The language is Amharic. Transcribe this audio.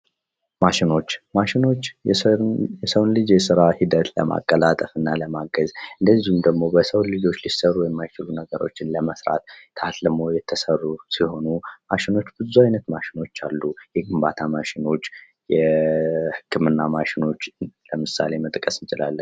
ማሸኖች ማሸኖች የሰውን ልጅ የስራ ሂደት ለማቀላጠፍና ለማገዝ ልጆች ሊሰሩ የማይችሉ ነገሮችን ለመስራት የተሰሩ ሲሆኑ ማሸኖች ብዙ አይነት ማሸኖች አሉ። የግንባታ ማሽኖች የህክምና ማሽኖች ለምሳሌ መጥቀስ እንችላለን።